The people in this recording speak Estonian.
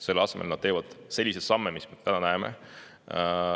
Selle asemel nad teevad selliseid samme, mida me täna näeme.